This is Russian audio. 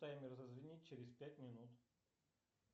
таймер зазвенит через пять минут